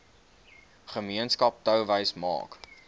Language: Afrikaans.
gemeenskap touwys maak